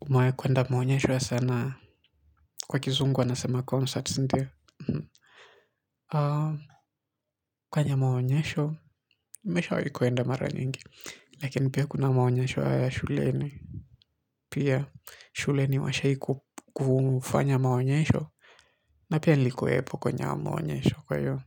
Umewai kuenda maonyesho ya sanaa? Kwa kizungu, wanasema, concerts, ndio. Kwenye maonyesho, nimweshawahi kuenda mara nyingi. Lakini pia kuna maonyesheo ya shuleni. Pia, shuleni washai ku kufanya maonyesho. Na pia nilikuwepo kwenye ao maonyesho kwaiyo.